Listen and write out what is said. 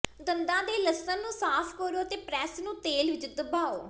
ਦੰਦਾਂ ਦੇ ਲਸਣ ਨੂੰ ਸਾਫ਼ ਕਰੋ ਅਤੇ ਪ੍ਰੈਸ ਨੂੰ ਤੇਲ ਵਿੱਚ ਦਬਾਓ